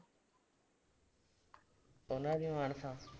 ਉਹਨਾਂ ਦੀ ਮਾਨਸਾ